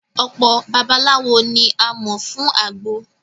Ọ̀pọ babaláwo ni a mọ̀ fún àgbo